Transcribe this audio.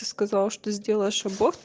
ты сказала что сделаешь аборт